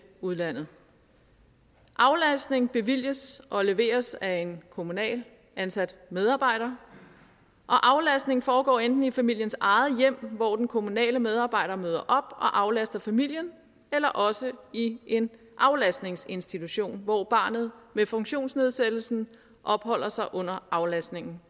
udlandet aflastning bevilges og leveres af en kommunalt ansat medarbejder og aflastningen foregår enten i familiens eget hjem hvor den kommunale medarbejder møder og aflaster familien eller også i en aflastningsinstitution hvor barnet med funktionsnedsættelsen opholder sig under aflastningen